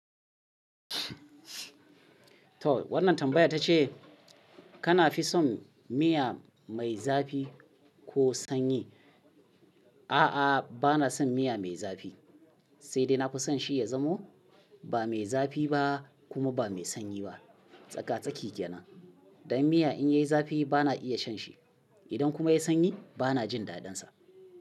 Toh wannan tambayar ta ce kana fi son miya mai zafi ko sanyi? A'a, bana son miya mai zafi, sai dai na fi son shi ya zamo ba mai zafi ba kuma ba mai sanyi ba. Tsaka-tsaki ke nan. Dan miya in yayi zafi bana iya shan shi. Idan kuma ya yi sanyi bana jin dadin sa.